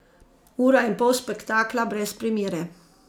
Ura in pol spektakla brez primere.